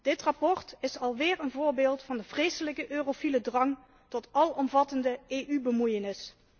Dit verslag is alweer een voorbeeld van de vreselijke eurofiele drang tot alomvattende EU bemoeienis.